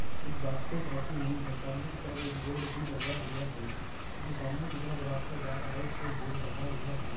कुछ बास्केट रखी हुई हैं सामने की तरफ एक बोर्ड भी लगा हुआ हैं जो सामने की तरफ रास्ता जा रहा हैं उसमे बोर्ड लगा हुआ हैं।